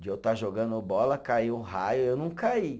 De eu estar jogando bola, caiu um raio, eu não caí.